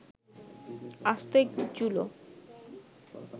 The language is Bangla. আস্ত একটি চুলো